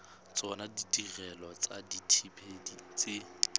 tsona ditirelo tsa dithibedi tse